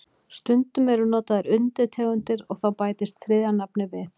Stundum eru notaðar undirtegundir og þá bætist þriðja nafnið við.